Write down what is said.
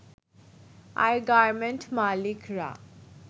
আর garment মালিকরা